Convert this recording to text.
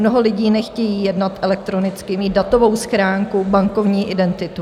Mnoho lidí nechce jednat elektronicky, mít datovou schránku, bankovní identitu.